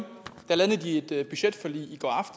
i de et budgetforlig i